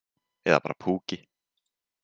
Eða bara púki.